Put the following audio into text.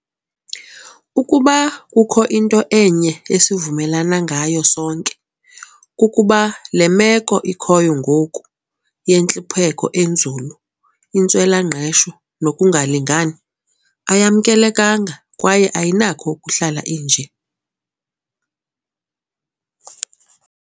"Ukuba kukho into enye esivumelana ngayo sonke, kukuba le meko ikhoyo ngoku - yentlupheko enzulu, intswela-ngqesho nokungalingani - ayamkelekanga kwaye ayinakho ukuhlala inje."